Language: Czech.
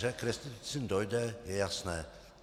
Že k restitucím dojde, je jasné.